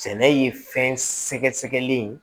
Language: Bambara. Sɛnɛ ye fɛn sɛgɛsɛgɛli ye